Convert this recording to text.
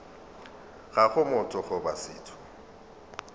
ga go motho goba setho